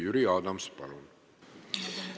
Jüri Adams, palun!